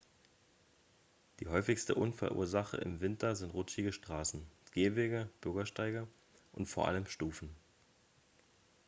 die häufigste unfallursache im winter sind rutschige straßen gehwege bürgersteige und vor allem stufen